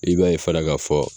I b'a ye fana ka fɔ.